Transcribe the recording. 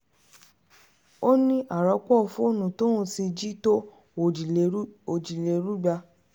ó ní àròpọ̀ fóònù tóun ti jí ti tó òjìlérúgba